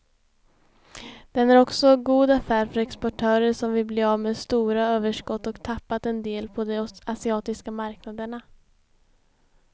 Den är också god affär för exportörer som vill bli av med stora överskott och tappat en del på de asiatiska marknaderna.